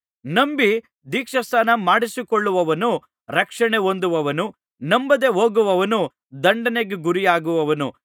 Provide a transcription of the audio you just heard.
ನಂಬಿ ದೀಕ್ಷಾಸ್ನಾನ ಮಾಡಿಸಿಕೊಳ್ಳುವವನು ರಕ್ಷಣೆ ಹೊಂದುವನು ನಂಬದೇ ಹೋಗುವವನು ದಂಡನೆಗೆ ಗುರಿಯಾಗುವನು